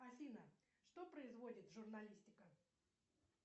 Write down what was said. афина что производит журналистика